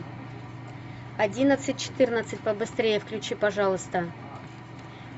одиннадцать четырнадцать побыстрее включи пожалуйста